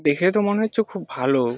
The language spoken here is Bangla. দেখে তো মনে হচ্ছে খুব ভালো।